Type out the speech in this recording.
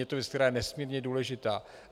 Je to věc, která je nesmírně důležitá.